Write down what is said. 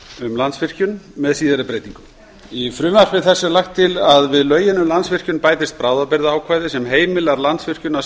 um landsvirkjun með síðari breytingum í frumvarpi þessu er lagt til að við lögin um landsvirkjun bætist bráðabirgðaákvæði sem heimilar landsvirkjun að